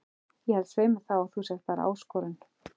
Ég held svei mér þá að þú sért bara ÁSKORUN